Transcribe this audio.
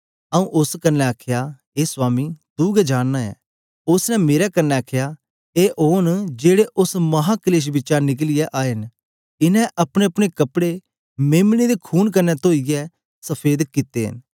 आऊँ उस्स कन्ने आखया ए स्वामी तू गै जानना ऐ उस्स ने मेरे कन्ने आखया ए ओन जेड़े उस्स माहाक्लेश बिचा निकलियै आए न इन्हें अपनेअपने कपड़े मेम्ने दे खून कन्ने तोईयै सफेद कित्ते न